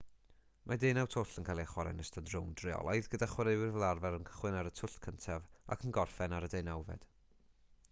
mae deunaw twll yn cael eu chwarae yn ystod rownd reolaidd gyda chwaraewyr fel arfer yn cychwyn ar y twll cyntaf ac yn gorffen ar y deunawfed